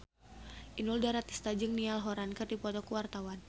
Inul Daratista jeung Niall Horran keur dipoto ku wartawan